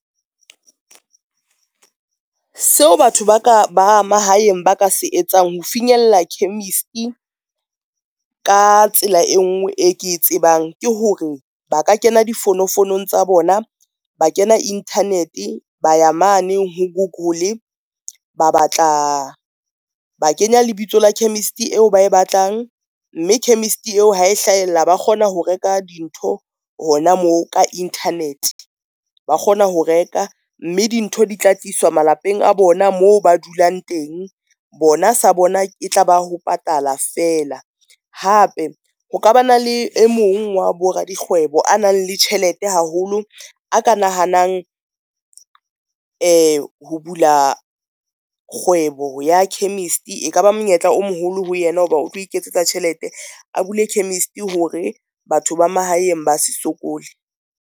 Seo batho ba mahaeng ba ka se etsang ho finyella chemist-e ka tsela e ngwe, e ke tsebang ke hore ba ka kena difounofounong tsa bona, ba kena internet ba ya mane ho google, ba batla ba kenya lebitso la chemist eo ba e batlang, mme chemist eo ha e hlahella ba kgona ho reka dintho hona moo ka internet ba kgona ho reka mme dintho di tla tliswa malapeng a bona moo ba dulang teng, bona sa bona e tlaba ho patala fela. Hape ho ka ba na le e mong wa bo radikgwebo a nang le tjhelete haholo, a ka nahanang ho bula kgwebo ya chemist, e ka ba monyetla o moholo ho yena ho ba o tlo iketsetsa tjhelete, a bule chemist hore batho ba mahaeng ba se sokole.